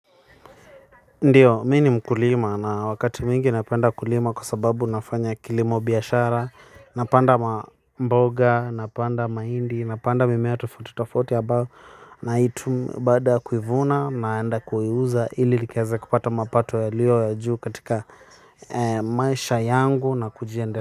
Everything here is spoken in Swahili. Ndiyo, mi ni mkulima na wakati mingi napenda kulima kwa sababu nafanya kilimo biashara. Napanda mboga, napanda mahindi, napanda mimea tofauti tofauti ambayo na hii tu baada kuivuna naenda kuiuza ili nikaeza kupata mapato yaliyo ya juu katika maisha yangu na kujiende.